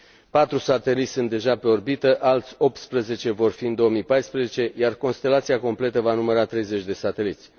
Patru sateliți sunt deja pe orbită, alți 18 vor fi în 2014, iar constelația completă va număra 30 de sateliți.